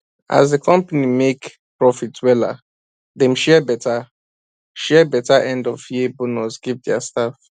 as the company make profit wella dem share better share better endofyear bonus give their staff